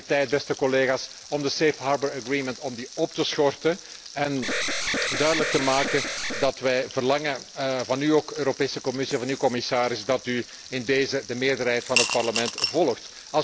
Daarom is het tijd, beste collega's, om de Safe Harbour Agreement op te schorten en duidelijk te maken dat wij verlangen van de Europese Commissie en ook van u, commissaris, dat u in deze de meerderheid van het Parlement volgt.